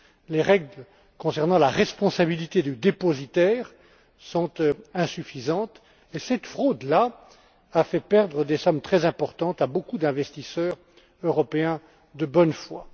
Les règles concernant la responsabilité du dépositaire sont insuffisantes. Cette fraude a fait perdre des sommes très importantes à beaucoup d'investisseurs européens de bonne foi.